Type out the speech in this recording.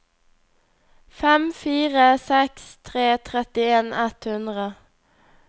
fem fire seks tre trettien ett hundre